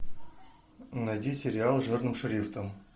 найди сериал жирным шрифтом